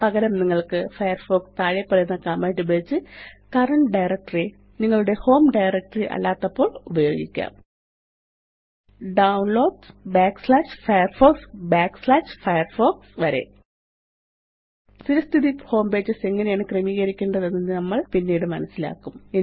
പകരം നിങ്ങള്ക്ക് ഫയർഫോക്സ് താഴെപ്പറയുന്ന കമാൻഡ് ഉപയോഗിച്ച് കറന്റ് ഡയറക്ടറി നിങ്ങളുടെ ഹോം ഡയറക്ടറി അല്ലാത്തപ്പോള് ഉപയോഗിക്കാം downloadsfirefoxഫയർഫോക്സ് വരെ സ്ഥിരസ്ഥിതി ഹോംപേജ് എങ്ങനെയാണ് ക്രമീകരിക്കേണ്ടതെന്ന് നമ്മള് പിന്നീട് മനസ്സിലാക്കും